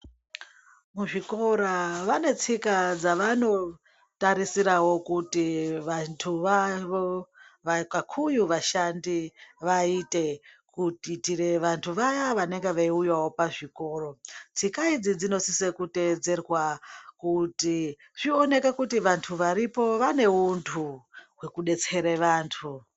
Kuzvikora vanetsika dzavanotaridirawo kuti vantu vavo uye vashandi kuti vaitere vantu vaya vanenge vayiuya pazvikoro tsika idzidzinosise kuteererwa kuti zvioneke kuti vantu varipo vane untu hwekudetsere vantu.